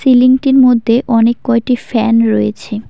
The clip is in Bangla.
বিল্ডিংটির মধ্যে অনেক কয়েকটি ফ্যান রয়েছে।